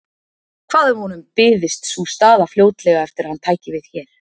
Hvað ef honum byðist sú staða fljótlega eftir að hann tæki við hér?